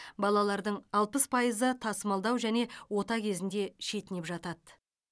балалардың алпыс пайызы тасымалдау және ота кезінде шетінеп жатады